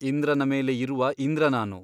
ಇಂದ್ರನ ಮೇಲೆ ಇರುವ ಇಂದ್ರ ನಾನು.